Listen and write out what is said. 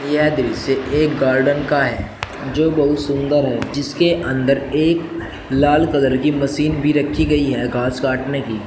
यह दृश्य एक गार्डन का है जो बहुत सुंदर है जिसके अंदर एक लाल कलर की मशीन भी रखी गई है घास काटने की।